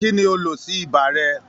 kí ni o lò sí ibà rẹ?